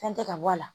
Fɛn tɛ ka bɔ a la